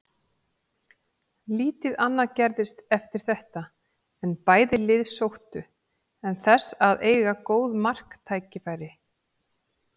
Lítið annað gerðist eftir þetta en bæði lið sóttu en þess að eiga góð marktækifæri.